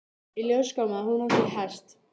Í ljós kom að hún átti hest.